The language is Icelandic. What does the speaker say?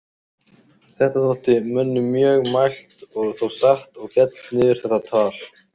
Þetta þótti mönnum mjög mælt og þó satt og féll niður þetta tal.